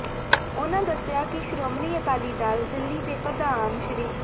ਉਹਨਾਂ ਦੱਸਿਆ ਕਿ ਸ਼੍ਰੋਮਣੀ ਅਕਾਲੀ ਦਲ ਦਿੱਲੀ ਦੇ ਪ੍ਰਧਾਨ ਸ੍ਰ